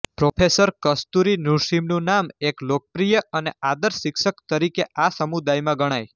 professor Kasturi નૃસિંહમનું નામ એક લોકપ્રિય અને આદર્શ શિક્ષક તરીકે આ સમુદાયમાં ગણાય